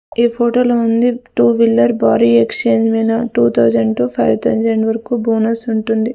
ఈ ఫోటో లో ఉంది టూ వీలర్ భారీ exchange mela two thousand to five thousand వరకు బోనస్ ఉంటుంది.